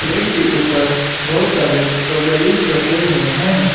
Plate के ऊपर बहुत सारे स्ट्रॉबेरीज रखे हुए हैं।